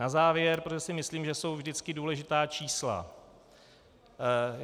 Na závěr, protože si myslím, že jsou vždycky důležitá čísla.